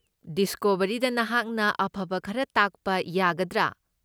ꯗꯤꯁꯀꯣꯕꯔꯤꯗ ꯅꯍꯥꯛꯅ ꯑꯐꯕ ꯈꯔ ꯇꯥꯛꯄ ꯌꯥꯒꯗ꯭ꯔꯥ?